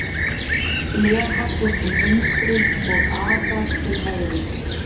Glerhallur til vinstri og agat til hægri.